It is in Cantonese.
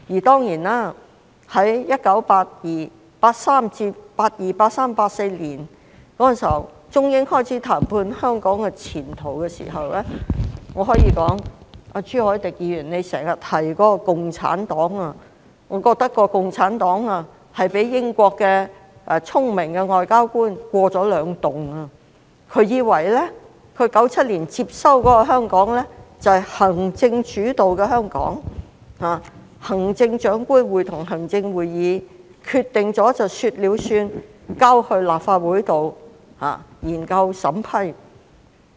在1982年至1984年，中英雙方開始就香港前途進行談判，我可以說，朱凱廸議員經常提到的共產黨，被聰明的英國外交官欺騙了，以為在1997年接收的香港是行政主導，是行政長官會同行政會議說了算，立法建議之後會提交立法會研究和審批。